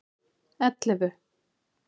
ellefu